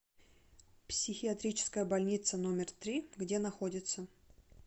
психиатрическая больница номер три где находится